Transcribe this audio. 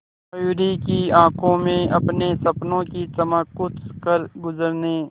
मयूरी की आंखों में अपने सपनों की चमक कुछ करगुजरने